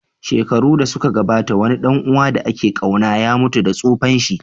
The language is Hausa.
Shekaru da suka gabata, wani ɗan uwa da ake ƙauna ya mutu da tsufanshi.